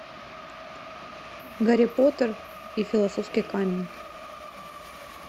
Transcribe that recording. гарри поттер и философский камень